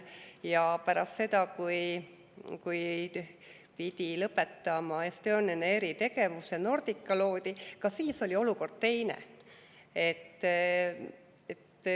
Ja pärast seda, kui Estonian Air pidi lõpetama tegevuse, loodi Nordica, ka siis oli olukord teine.